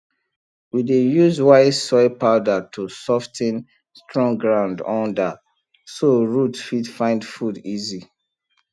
we dey use white soil powder to sof ten strong ground under so root fit find food easy